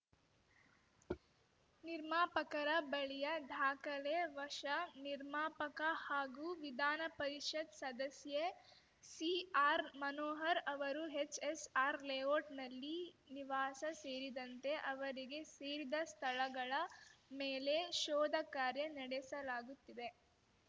ನಿರ್ಮಾಪಕರ ಬಳಿಯ ದಾಖಲೆ ವಶ ನಿರ್ಮಾಪಕ ಹಾಗೂ ವಿಧಾನಪರಿಷತ್‌ ಸದಸ್ಯೆ ಸಿಆರ್‌ಮನೋಹರ್‌ ಅವರ ಎಚ್‌ಎಸ್‌ಆರ್‌ಲೇಔಟ್‌ನಲ್ಲಿ ನಿವಾಸ ಸೇರಿದಂತೆ ಅವರಿಗೆ ಸೇರಿದ ಸ್ಥಳಗಳ ಮೇಲೆ ಶೋಧ ಕಾರ್ಯ ನಡೆಸಲಾಗುತ್ತಿದೆ